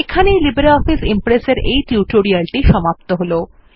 এখানে LibreOffice Impress এর এই টিউটোরিয়াল টি সমাপ্ত হল